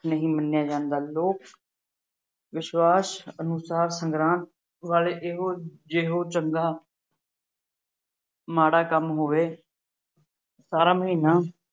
ਨਹੀਂ ਮੰਨਿਆ ਜਾਂਦਾ। ਲੋਕ-ਵਿਸ਼ਵਾਸ ਅਨੁਸਾਰ ਸੰਗਰਾਂਦ ਵਾਲੇ ਦਿਨ ਜਿਹੋ ਜਿਹਾ ਚੰਗਾ ਮਾੜਾ ਕੰਮ ਹੋਵੇ, ਸਾਰਾ ਮਹੀਨਾ